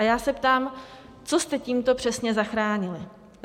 A já se ptám, co jste tímto přesně zachránili?